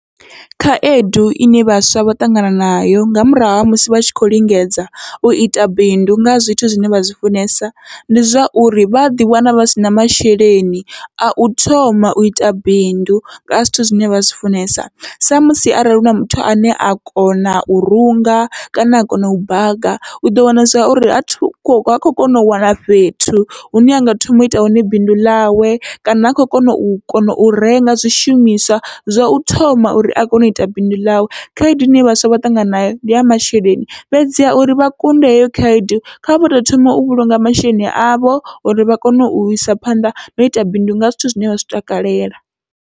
Khaedu ine vhaswa vha ṱangana nayo nga murahu ha musi vha tshi khou lingedza uita bindu nga zwithu zwine vha zwi funesa, ndi zwauri vha ḓi wana vha sina masheleni au thoma uita bindu ngaha zwithu zwine vha zwi funesa, sa musi arali huna muthu ane a kona u runga kana a kona u baga, uḓo wana zwa uri ha kho kona u wana fhethu hune anga thoma uita hone bindu ḽawe, kana ha khou kona u kona u renga zwithu zwishumiswa zwa u thoma uri a kone uita bindu ḽawe. Khaedu ine vhaswa vha ṱangana nayo ndi ya masheleni fhedziha uri vha kunde heyo khaedu, kha vha to thoma u vhulunga masheleni avho uri vha kone uisa phanḓa na uita bindu nga zwithu zwine vha zwi takalela.